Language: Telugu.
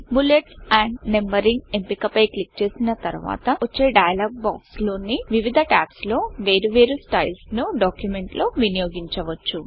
బుల్లెట్స్ ఆండ్ Numberingబులెట్స్ అండ్ నంబరింగ్ ఎంపిక పై క్లిక్ చేసిన తర్వాత వచ్చే డైయలోగ్ బాక్స్ లోని వివిధ టాబ్స్ లో వేరు వేరు Stylesస్టైల్స్ ను డాక్యుమెంట్ లో వినియోగించవచ్చు